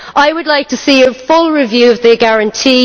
I would like to see a full review of the Guarantee.